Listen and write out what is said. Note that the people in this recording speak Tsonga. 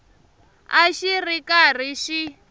a xi ri karhi xi